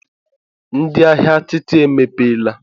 Ee, ndị ahịa atịtị emepeela